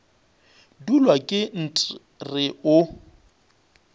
dulwa ke nt re o